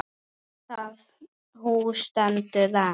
Það hús stendur enn.